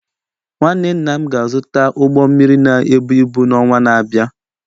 Nwanne nna m ga-azụta ụgbọ mmiri na-ebu ibu n’ọnwa na-abịa